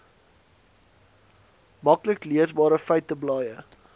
maklik leesbare feiteblaaie